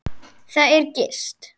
Þar er gist.